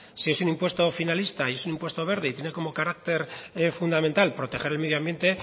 si es un impuesto finalista es un impuesto verde y tiene como carácter fundamental proteger el medio ambiente